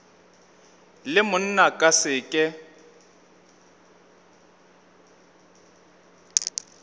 le monna ka se ke